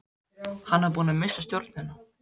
Hann var búinn að missa stjórnina.